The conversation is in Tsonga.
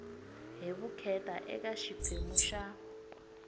hi vukheta eka xiphemu xa